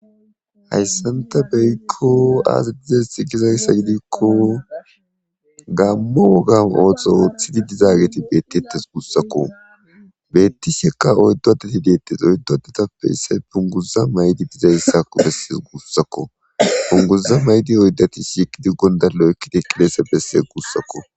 Hayssanta beykko aazadizes i gizayssa gidikko gammo wogan oohtxho ooththidi dizaageti beettettes guussakko beetti shekka oyddo adeti deettes oyddo detappe isse punguzza maydi dizayssako besses guussakko punguza maydi oyddati shiqidi gonda lo'ekkide qilese besse guussakko.